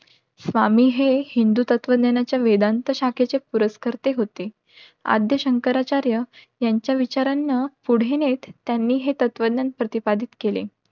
स्वामी हे हिंदू तत्व ज्ञानाच्या वेदांत शाखेचे पुरस्कर्ते होते. आद्य शंकराचार्य यांच्या विचारानं पुढे नेट त्यांनी हे तत्वज्ञान प्रतिपादित केले.